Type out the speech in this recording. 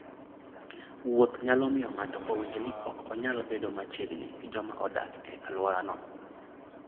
Wuoth nyalo miyo ng'ato owinj ni ok onyal bedo machiegni gi joma odak e alworano.